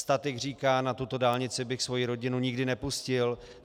Statik říká, na tuto dálnici bych svoji rodinu nikdy nepustil.